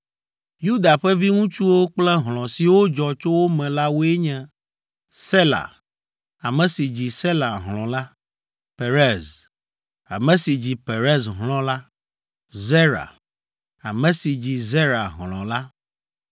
Yuda ƒe viŋutsuwo kple hlɔ̃ siwo dzɔ tso wo me la woe nye: Sela, ame si dzi Sela hlɔ̃ la, Perez, ame si dzi Perez hlɔ̃ la, Zera, ame si dzi Zera hlɔ̃ la,